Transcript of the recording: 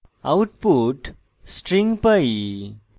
output string pi